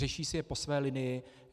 Řeší si je po své linii.